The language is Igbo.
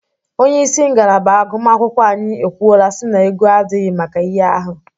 Onyeisi ngalaba agụmakwụkwọ anyi ekwuola si na ego adighi maka ihe ahụ.